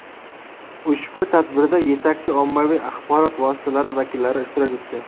Ushbu tadbirda yetakchi ommaviy axborot vositalari vakillari ishtirok etdi.